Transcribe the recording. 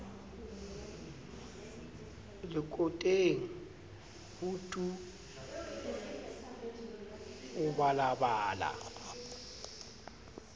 lekoteng ho tu o balabala